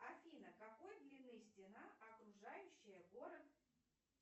афина какой длины стена окружающая город